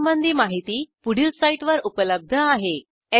यासंबंधी माहिती पुढील साईटवर उपलब्ध आहे